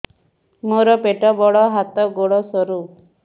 ମୋର ପେଟ ବଡ ହାତ ଗୋଡ ସରୁ